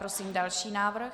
Prosím další návrh.